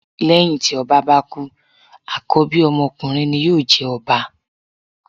Lẹ́hìn tí ọba bá kú àkọ́bí ọmọ ọkunrin ni yóò jẹ ọba.